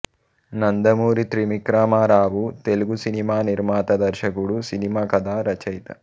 Nandamuri Trivikramarao Telugu cinema నిర్మాత దర్శకుడు cinema కథా రచయిత